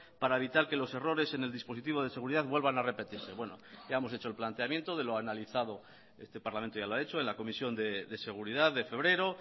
para evitar que los errores en el dispositivo de seguridad vuelvan a repetirse bueno ya hemos hecho el planteamiento de lo analizado este parlamento ya lo ha hecho en la comisión de seguridad de febrero